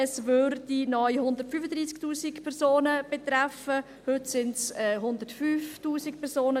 Es würde neu 135 000 Personen betreffen, heute sind es 105 000 Personen.